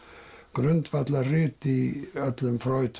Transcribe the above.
grundvallarrit í öllum